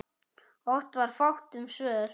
Oft var fátt um svör.